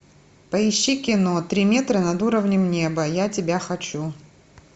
поищи кино три метра над уровнем неба я тебя хочу